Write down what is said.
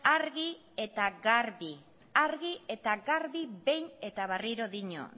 argi eta garbi behin eta berriro dio